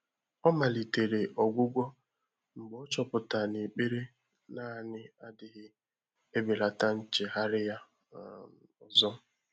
Ọ́ màlị̀tèrè ọ́gwụ́gwọ́ mgbè ọ́ chọ́pụ́tàrà nà ékpèré nāànị́ ádị́ghị́ èbèlàtà nchéghárị́ yá um ọ́zọ́.